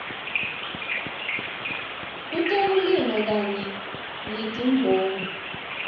kutekulima kanye netimboni